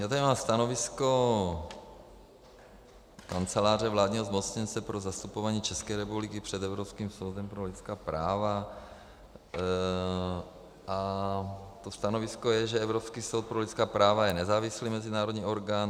Já tady mám stanovisko Kanceláře vládního zmocněnce pro zastupování České republiky před Evropským soudem pro lidská práva a to stanovisko je, že Evropský soud pro lidská práva je nezávislý mezinárodní orgán.